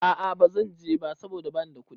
A a bazan je ba saboda bani da kuɗi.